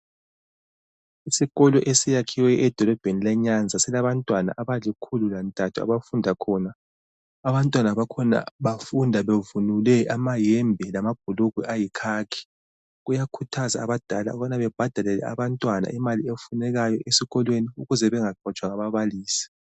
Isikolo esiyakhiweyo edolobheni leNyaza. Silabantwana abalikhulu lantathu abafunda khona. Abantwana bakhona bafunda bevunule amahembe lamabhulugwe ayikhakhi. Kuyakhuthazwa abadala ukubana babhadalele abantwana imali efunekayo esikolweni ukuze bengaxotshwa ngababalisi.